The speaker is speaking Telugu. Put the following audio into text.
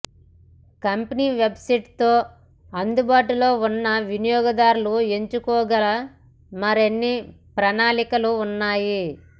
కంపెనీ వెబ్సైట్లో అందుబాటులో ఉన్న వినియోగదారులు ఎంచుకోగల మరిన్ని ప్రణాళికలు ఉన్నాయి